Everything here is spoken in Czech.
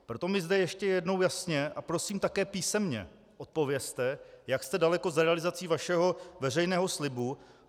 Proto mi zde ještě jednou jasně, a prosím také písemně, odpovězte, jak jste daleko s realizací vašeho veřejného slibu.